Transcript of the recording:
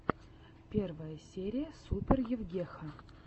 первая серия супер евгеха